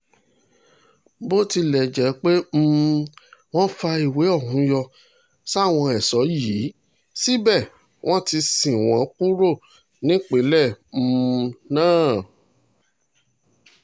bó tilẹ̀ jẹ́ pé um wọ́n fa ìwé ọ̀hún yọ sáwọn ẹ̀ṣọ́ yìí síbẹ̀ wọ́n ti sin wọ́n kúrò nípìnlẹ̀ um náà